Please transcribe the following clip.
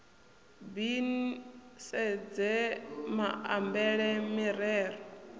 b ni sedze maambele mirero